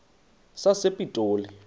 sasepitoli